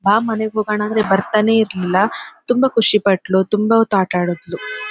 ಬಾ ಮನೆಗೆ ಹೋಗಣ ಅಂದ್ರೆ ಬರತಾನೆ ಇರಲಿಲ್ಲಾ ತುಂಬಾ ಖುಷಿ ಪಟ್ಳು ತುಂಬಾ ಹೊತ್ತು ಆಟ ಆಡದ್ಲು .